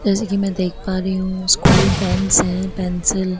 जैसे की मैं देख पा रही हूँ स्कूल पेन्स हैं पेंसिल --